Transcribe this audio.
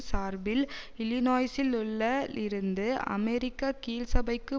சார்பில் இல்லினோய்சிலுள்ள இலிருந்து அமெரிக்க கீழ்சபைக்கு